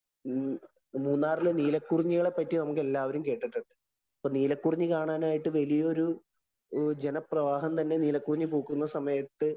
മൂന്നാറിലെ നീലകുറിഞ്ഞികളെ പറ്റി എല്ലാവരും കേട്ടിട്ടുണ്ട്. ഇപ്പൊ നീലകുറിഞ്ഞി കാണാനായിട്ട് വലിയൊരു ജനപ്രവാഹം തന്നെ നീലകുറിഞ്ഞി പൂക്കുന്ന സമയത്ത്